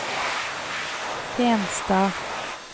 Fenstad